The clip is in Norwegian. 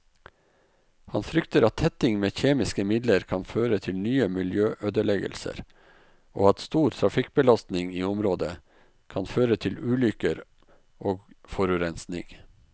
Han frykter at tetting med kjemiske midler kan føre til nye miljøødeleggelser og at stor trafikkbelastning i området kan føre til ulykker og forurensning.